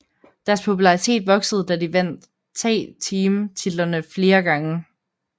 Deres popularitet voksede da de vandt tag team titlerne flere gange